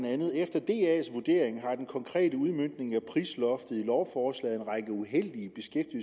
at efter das vurdering har den konkrete udmøntning af prisloftet i lovforslaget en række uheldige